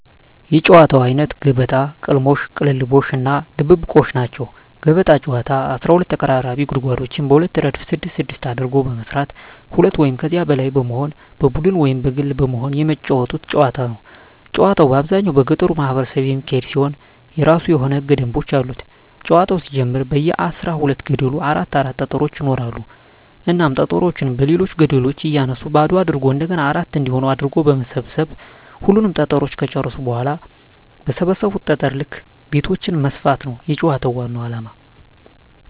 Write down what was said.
የጨዋታወች አይነት ገበጣ፣ ቅልሞሽ(ቅልልቦሽ) እና ድብብቆሽ ናቸዉ። ገበጣ ጨዋታ 12 ተቀራራቢ ጉድጓዶችን በሁለት እረድፍ ስድስት ስድስት አድርጎ በመስራት ሁለት ወይም ከዚያ በላይ በመሆን በቡድን ወይም በግል በመሆን የመጫወቱት ጨዋታ ነዉ። ጨዋታዉ በአብዛኛዉ በገጠሩ ማህበረሰብ የሚካሄድ ሲሆን የእራሱ የሆኑ ህገ ደንቦችም አሉት ጨዋታዉ ሲጀመር በየ አስራ ሁለት ገደሉ አራት አራት ጠጠሮች ይኖራሉ እናም ጠጠሮችን በሌሎች ገደሎች እያነሱ ባዶ አድርጎ እንደገና አራት እንዲሆን አድርጎ በመሰብ ሰብ ሁሉንም ጠጠሮች ከጨረሱ በኋላ በሰበሰቡት ጠጠር ልክ ቤቶችን መስፋት ነዉ የጨዋታዉ ዋናዉ አላማ።